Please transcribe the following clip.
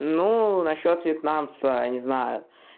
ну насчёт вьетнамца не знаю